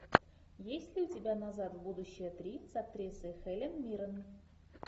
есть ли у тебя назад в будущее три с актрисой хелен миррен